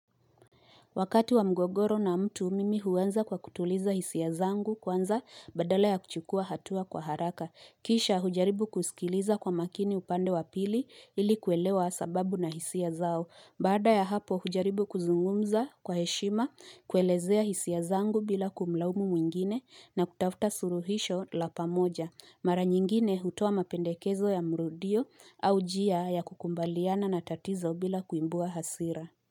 Wakati wa mgogoro na mtu, mimi huanza kwa kutuliza hisia zangu kwanza badala ya kuchukua hatua kwa haraka. Kisha hujaribu kusikiliza kwa makini upande wa pili ili kuelewa sababu na hisia zao. Baada ya hapo hujaribu kuzungumza kwa heshima, kuelezea hisia zangu bila kumlaumu mwingine na kutafuta suluhisho la pamoja. Mara nyingine hutoa mapendekezo ya mrudio au njia ya kukubaliana na tatizo bila kuibua hasira.